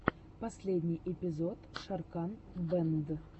последний эпизод шокран бэнд